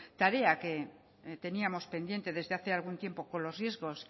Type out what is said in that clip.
tarea que teníamos pendiente desde hace algún tiempo con los riesgos